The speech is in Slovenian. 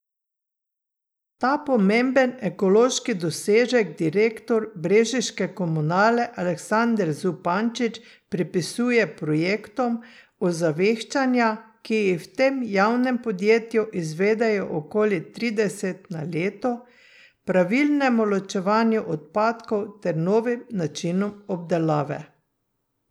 Ta pomemben ekološki dosežek direktor brežiške Komunale Aleksander Zupančič pripisuje projektom ozaveščanja, ki jih v tem javnem podjetju izvedejo okoli trideset na leto, pravilnemu ločevanju odpadkov ter novim načinom obdelave.